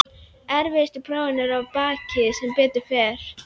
Erfiðustu prófin eru að baki sem betur fer.